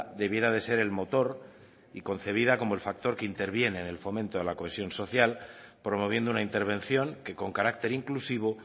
debiera de ser el motor y concebida como el factor que interviene en el fomento de la cohesión social promoviendo una intervención que con carácter inclusivo